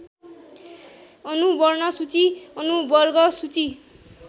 अनुवर्णसूची अनुवर्गसूची